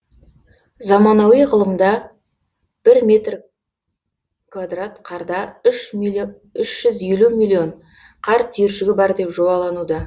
заманауи ғылымда бір метр квадрат қарда үш жүз елу миллион қар түйіршігі бар деп жобалануда